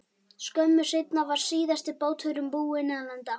Skömmu seinna var síðasti báturinn búinn að landa.